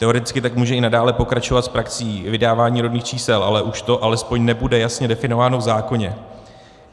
Teoreticky tak může i nadále pokračovat s praxí vydávání rodných čísel, ale už to alespoň nebude jasně definováno v zákoně.